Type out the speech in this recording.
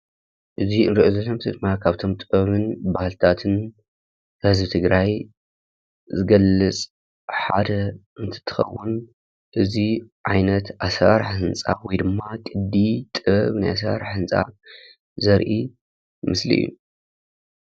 እዚ እንሪኦ ዘለና ምስሊ ድማ ካብቶም ጥበብን ባህሊታትን ህዝቢ ትግራይ ዝገልፅ ሓደ እንትትኸውን፤ እዚ ዓይነት አሰራርሓ ህንፃ ወይ ድማ ልምዲ ጥበብ ናይ አሰራርሓ ህንፃ ዘርኢ ምስሊ እዩ፡፡